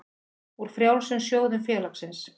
úr frjálsum sjóðum félagsins.